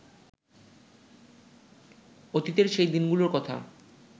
অতীতের সেই দিনগুলোর কথা